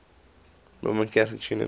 roman catholic tradition